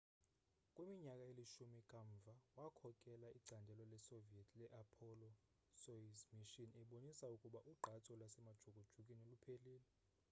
kwiminyaka elishumi kamva wakhokela icandelo lasesoviet le-apollo soyuz mission ebonisa ukuba ugqatso lwasemajukujukwini luphelile